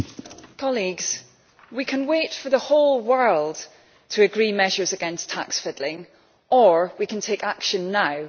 Madam President, colleagues, we can wait for the whole world to agree measures against tax fiddling, or we can take action now.